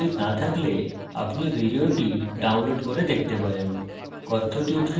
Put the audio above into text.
যদি ভাল bandwidth না থাকে তাহলে আপনি ভিডিওটি download করে দেখতে পারেন